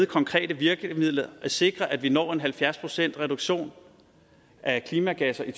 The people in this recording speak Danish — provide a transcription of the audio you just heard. konkrete virkemidler at sikre at vi når en halvfjerds procentsreduktion af klimagasser i